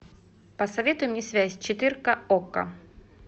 посоветуй мне связь четырка окко